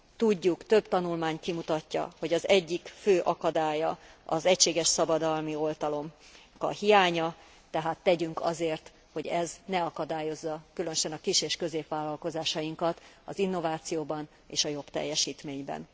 Tudjuk, több tanulmány kimutatja, hogy az egyik fő akadálya az egységes szabadalmi oltalomnak a hiánya, tehát tegyünk azért, hogy ez ne akadályozza különösen a kis és középvállalkozásainkat az innovációban és a jobb teljesítményben.